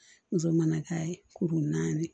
Muso mana k'a ye kuru naani